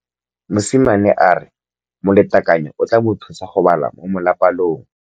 Mosimane a re molatekanyô o tla mo thusa go bala mo molapalong.